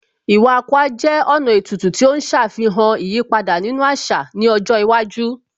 Iwa Akwa jẹ́ ọ̀nà ètùtù tí ó ń ṣàfihàn ìyípadà nínú àṣà ní ọjọ́ iwájú